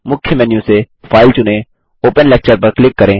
मुख्य मेन्यू से फाइल चुनें ओपन लेक्चर पर क्लिक करें